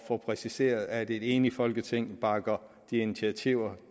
få præciseret at et enigt folketing bakker de initiativer